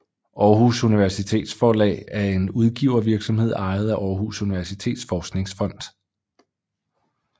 Aarhus Universitetsforlag er en udgivervirksomhed ejet af Aarhus Universitets Forskningsfond